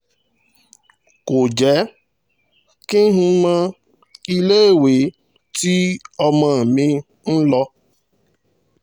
kò jẹ́ kí n mọ iléèwé tí ọmọ mi ń lọ